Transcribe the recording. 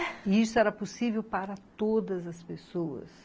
E isso era possível para todas as pessoas.